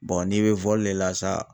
n'i be le la sa